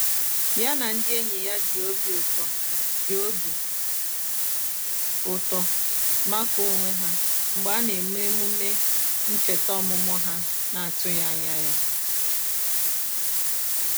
ya na ndị enyi ya ji obi ụtọ ji obi ụtọ makụọ onwe ha mgbe a na eme omume ncheta ọmụmụ ha na atụghị anya ya